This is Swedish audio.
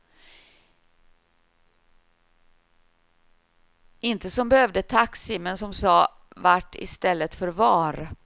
Inte som behövde taxi, men som sa vart i stället för var.